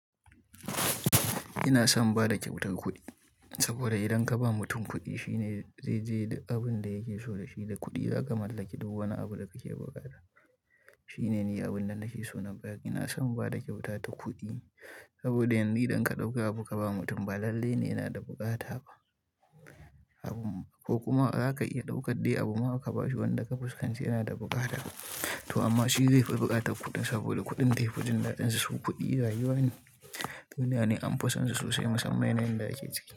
Ina son bada kyautar kuɗi, saboda idan ka ba mutum kuɗi shine, zai je da abin da yake so da shi da kuɗi za ka mallaki duk wani abu da kake buƙata. Shine ne abin da nake so na ba. Ina son bada kyautata kuɗi, saboda yanzu idan ka ɗauka abu ka ba mutum ba lalle ne yana da bukata ba. Ko kuma, zaka iya ɗaukar dai abu ma ka ba shi wanda ka fuskanci yana da buƙata to amma shi zai fi buƙatar kuɗin saboda kuɗin defi jin da ɗan sa su kuɗi rayu wane. Duniya ne anfison su sosai musamman yana inda yake ciki.